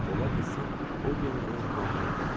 Ola bilsin, o generalı ruhlandırırdı.